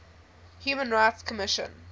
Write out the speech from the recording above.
human rights commission